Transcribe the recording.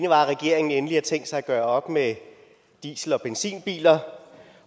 at regeringen endelig har tænkt sig at gøre op med diesel og benzinbiler